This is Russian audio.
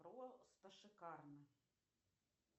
просто шикарно